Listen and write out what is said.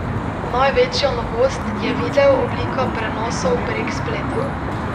Največja novost je video oblika prenosov prek spleta.